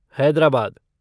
Hyderabad